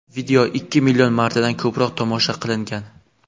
Video ikki million martadan ko‘proq tomosha qilingan.